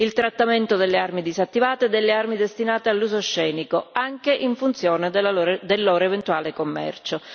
il trattamento delle armi disattivate e delle armi destinate all'uso scenico anche in funzione del loro eventuale commercio.